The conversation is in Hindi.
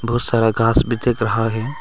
बहुत सारा घास भी दिख रहा है।